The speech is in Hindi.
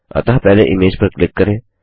अतः पहले इमेज पर क्लिक करें